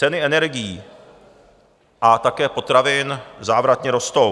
Ceny energií a také potravin závratně rostou.